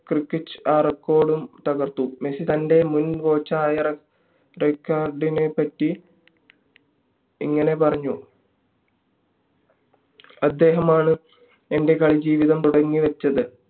ക്രിക്കിച്ച് ആ record ഉം തകർത്തു മെസ്സി തൻ്റെ മുൻ coach ആയ റൈക്കാർഡിനെ പറ്റി ഇങ്ങനെ പറഞ്ഞു അദ്ദേഹമാണ് എൻ്റെ കാളി ജീവിതം തുടങ്ങി വെച്ചത്